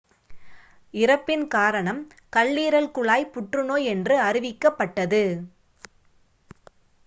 இறப்பின் காரணம் கல்லீரல் குழாய் புற்றுநோய் என்று அறிவிக்கப்பட்டது